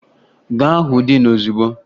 Ga hụ diin ozugbo!